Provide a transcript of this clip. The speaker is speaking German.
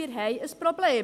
Wir haben ein Problem.